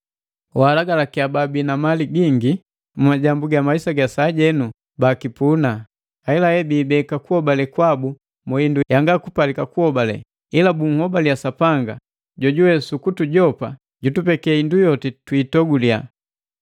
Walagalakiya bala babii na mali gingi mu majambu ga maisa ga sajenu bakipuna, ahelahe biibeka kuhobale kwabu mu hindu yanga kupalika kuhobale, ila anhobaliya Sapanga, jojuwe sukutujopa jutupeke hindu yoti twiitogulya.